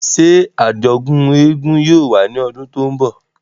Ṣe ajọdun éégún yóò wa ni ọdun to nbọ?